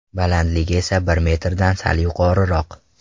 Balandligi esa bir metrdan sal yuqoriroq.